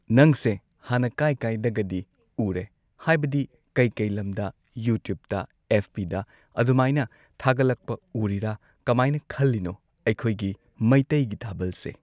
ꯅꯪꯁꯦ ꯍꯥꯟꯅ ꯀꯥꯏ ꯀꯥꯏꯗꯒꯗꯤ ꯎꯔꯦ ꯍꯥꯏꯕꯗꯤ ꯀꯩ ꯀꯩ ꯂꯝꯗ ꯌꯨꯇ꯭ꯌꯨꯕꯇ ꯑꯦꯐ ꯕꯤꯗ ꯑꯗꯨꯃꯥꯏꯅ ꯊꯥꯒꯠꯂꯛꯄꯗ ꯎꯔꯤꯔꯥ ꯀꯃꯥꯏꯅ ꯈꯜꯂꯤꯅꯣ ꯑꯩꯈꯣꯏꯒꯤ ꯃꯩꯇꯩꯒꯤ ꯊꯥꯕꯜꯁꯦ